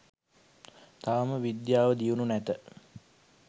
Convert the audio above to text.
තවම විද්‍යාව දියුණු නැත